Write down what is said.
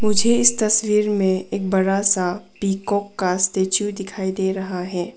मुझे इस तस्वीर में एक बड़ा सा पीकॉक का स्टेचू दिखाई दे रहा है।